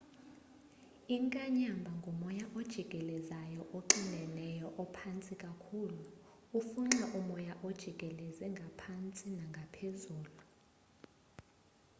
inkanyamba ngumoya ojikelezayo oxineneyo ophantsi kakhulu ufunxa umoya ojikeleze ngaphakathi nangaphezulu